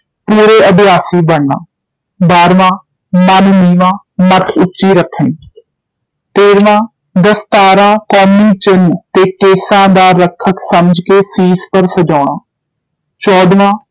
ਪੂਰੇ ਅਭਿਆਸੀ ਬਣਨਾ ਬਾਹਰਵਾਂ ਮਨ ਨੀਵਾਂ, ਮਤ ਉੱਚੀ ਰੱਖਣੀ ਤੇਹਰਵਾਂ ਦਸਤਾਰਾ ਕੌਮੀ ਚਿੰਨ੍ਹ ਤੇ ਕੇਸਾਂ ਦਾ ਰੱਖਕ ਸਮਝ ਕੇ ਸੀਸ ਪਰ ਸਜਾਉਣਾ ਚੌਧਵਾਂ